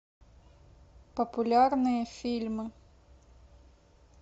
популярные фильмы